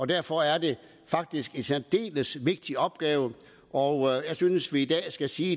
derfor er det faktisk en særdeles vigtig opgave og jeg synes vi i dag skal sige